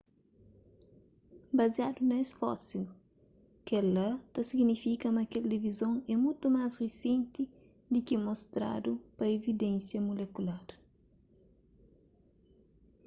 baziadu na es fósil kel-la ta signifika ma kel divizon é mutu más risenti di ki mostradu pa evidénsia mulekular